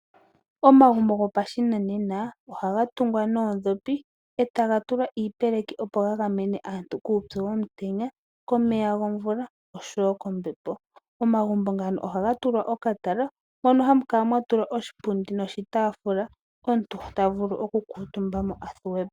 Omagumbo gopashinanena ohaga tungwa noodhopi e taga tulwa iipeleki opo ga gamene aantu kuupyu womutenya, komeya gomvula nosho wo kombepo. Omagumbo ngaka ohaga tulwa okatala moka hamu kala mwa tulwa oshipundi noshitaafula moka omuntu ta vulu okuvululukwa po.